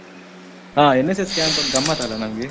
ಆ NSS camp ಒಂದು ಗಮ್ಮತ್ ಅಲ್ಲ ನಮ್ಗೆ.